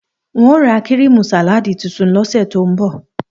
N óò ra kíríìmù sàláàdì tuntun ní ò̩sè̩ tó ń bò̩